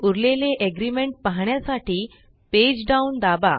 उरलेले एग्रीमेंट पाहण्यासाठी page down दाबा